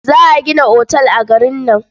Za a gina otal a garin nan.